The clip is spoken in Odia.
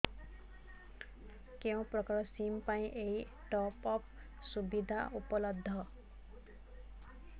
କେଉଁ ପ୍ରକାର ସିମ୍ ପାଇଁ ଏଇ ଟପ୍ଅପ୍ ସୁବିଧା ଉପଲବ୍ଧ